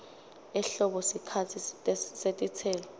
ehlobo sikhatsi setitselo